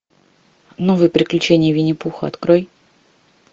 новые приключения винни пуха открой